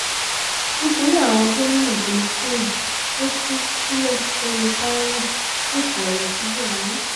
nítorí àwọn gómìnà tó ń ṣẹ̀wọ̀n tó tú sílẹ̀ fẹmi faina sọ̀kò ọ̀rọ̀ sí buhari